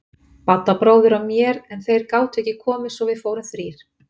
Badda bróðir og mér en þeir gátu ekki komið svo við fórum þrír.